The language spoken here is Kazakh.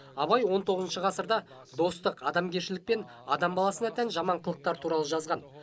абай он тоғызыншы ғасырда достық адамгершілік пен адам баласына тән жаман қылықтар туралы жазған